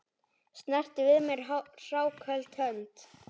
Snerti við mér hráköld hönd?